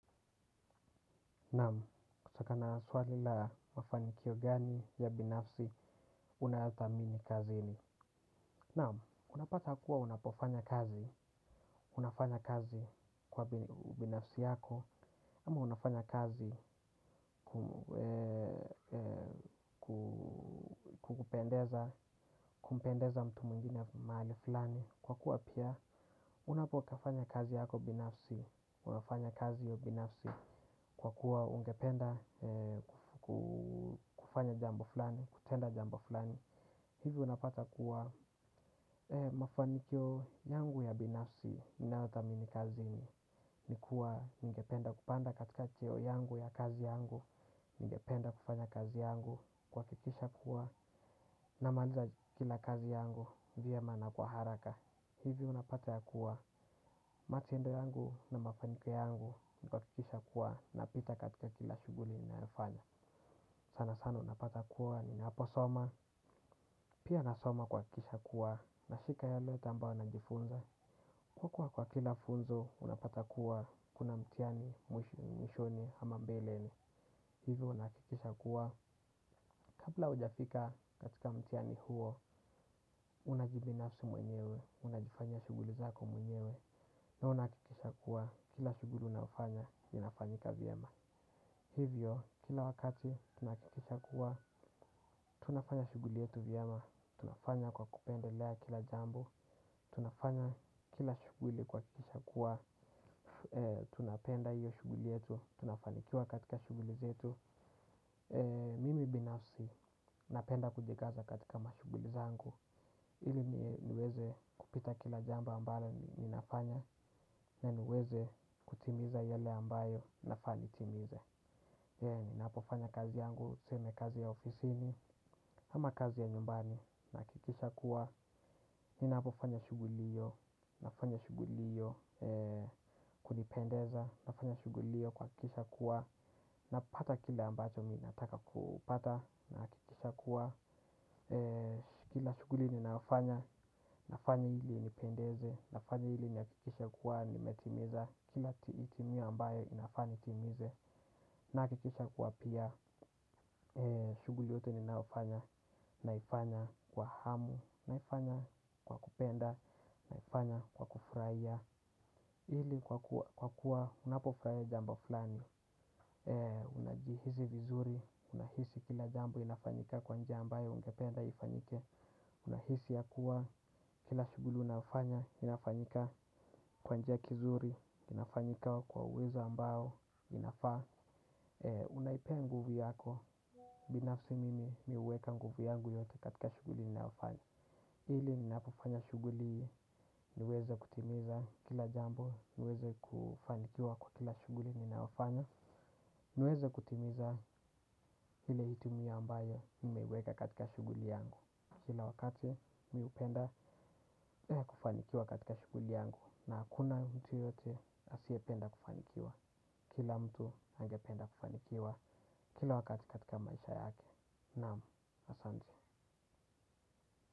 Naam, kutokana na swali la mafanikio gani ya binafsi, unayothamini kazini. Naam, unapata kuwa unapofanya kazi, unafanya kazi kwa binafsi yako. Ama unafanya kazi kumpendeza mtu mwingine mahali fulani. Kwa kuwa pia, unapofanya kazi yako binafsi, unafanya kazi hiyo binafsi. Kwa kuwa ungependa kufanya jambo fulani, kutenda jambo fulani, hivi unapata kuwa mafanikio yangu ya binafsi ninayothamini kazini. Ni kuwa ningependa kupanda katika cheo yangu ya kazi yangu, ningependa kufanya kazi yangu kuhakikisha kuwa namaliza kila kazi yangu vyema na kwa haraka. Hivyo unapata ya kuwa matendo yangu na mafanikio yangu kwa kuhakikisha kuwa napita katika kila shughuli ninayofanya. Sanasana unapata kuwa ninaposoma, pia nasoma kuhakikisha kuwa nashika yale yote ambayo najifunza. Kwa kuwa kwa kila funzo unapata kuwa kuna mtihani, mwishoni, ama mbeleni hivyo unahakikisha kuwa. Kabla hujafika katika mtiani huo, unajibinafsi mwenyewe, unajifanya shughuli zako mwenyewe, na unahakikisha kuwa kila shughuli unaofanya, inafanyika vyema. Hivyo, kila wakati tunahakikisha kuwa, tunafanya shughuli yetu vyema, tunafanya kwa kupendelea kila jambo, tunafanya kila shughuli kuhakikisha kuwa, tunapenda hiyo shughuli yetu, tunafanikiwa katika shughuli zetu. Mimi binafsi napenda kujikaza katika mashughuli zangu. Ili niweze kupita kila jambo ambalo ninafanya na niweze kutimiza yale ambayo nafaa nitimize. Ninapofanya kazi yangu, tuseme kazi ya ofisini ama kazi ya nyumbani nahakikisha kuwa ninapofanya shughuli hiyo, nafanya shughuli hiyo kunipendeza. Nafanya shughuli hiyo kuhakikisha kuwa napata kile ambacho mimi nataka kupata, nahakikisha kuwa, kila shughuli ninayofanya, nafanya ili inipendeze, nafanya ili nihakikishe kuwa nimetimiza, kila hitimio ambayo inafanya nitimize, nahakikisha kuwa pia, shughuli yote ninaofanya, naifanya kwa hamu, naifanya kwa kupenda, naifanya kwa kufurahia, ili kwa kuwa unapofurahia jambo fulani, unajihisi vizuri, unahisi kila jambo inafanyika kwa njia ambayo ungependa ifanyike. Unahisi ya kuwa, kila shughuli unayofanya inafanyika kwa njia kizuri. Inafanyika kwa uwezo ambayo inafaa. Unaipea nguvu yako, binafsi mimi mimi huweka nguvu yangu yote katika shughuli ninayofanya. Ili ninapofanya shughuli, niweze kutimiza kila jambo, niweze kufanikiwa kwa kila shughuli ninayofanya. Niweze kutimiza ile hitimio ambayo nimeiweka katika shughuli yangu. Kila wakati mimi hupenda kufanikiwa katika shughuli yangu. Na hakuna mtu yeyote asiyependa kufanikiwa. Kila mtu angependa kufanikiwa kila wakati katika maisha yake. Naam, asante.